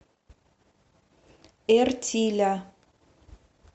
эртиля